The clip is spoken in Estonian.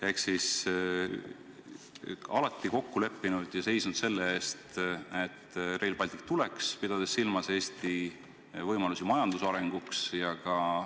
Ehk nad on alati kokku leppinud ja seisnud selle eest, et Rail Baltic tuleks, pidades silmas Eesti võimalusi majandusarenguks.